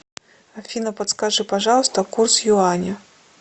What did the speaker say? афина подскажи пожалуйста курс юаня